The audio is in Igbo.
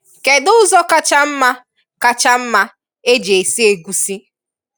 Kedụ ụzọ kacha mma kacha mma e ji esi egusi?